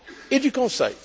et du Conseil.